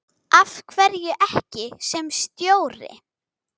Af hverju ekki sem stjóri?